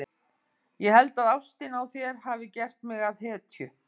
Ég held að ástin á þér hafi gert mig að hetju.